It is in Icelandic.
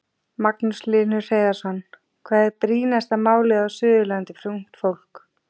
Magnús Hlynur Hreiðarsson: Hvað er brýnasta málið á Suðurlandi fyrir ungt fólk?